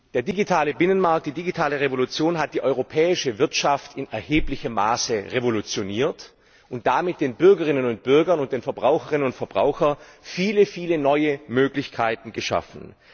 Der digitale Binnenmarkt, die digitale Revolution hat die europäische Wirtschaft in erheblichem Maße revolutioniert und damit den Bürgerinnen und Bürgern und den Verbraucherinnen und Verbrauchern viele neue Möglichkeiten geschaffen.